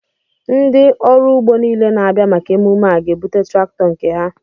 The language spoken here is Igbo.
Ndị ọrụ ugbo niile na-abịa maka emume a ga-ebute traktọ nke ha